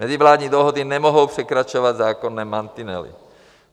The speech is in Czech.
Mezivládní dohody nemohou překračovat zákonné mantinely.